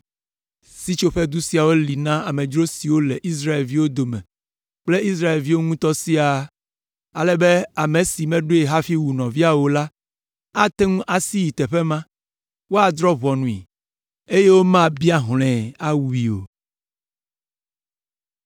Sitsoƒedu siawo li na amedzro siwo le Israelviwo dome kple Israelviwo ŋutɔ siaa, ale be ame si meɖoe hafi wu nɔvia o la ate ŋu asi ayi teƒe ma, woadrɔ̃ ʋɔnui, eye womabia hlɔ̃e, awui o.